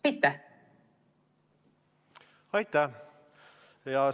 Aitäh!